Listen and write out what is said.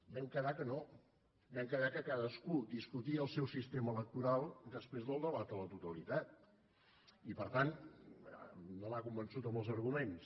vam quedar que no vam quedar que cadascú discutia el seu sistema electoral després del debat a la totalitat i per tant no m’ha convençut amb els arguments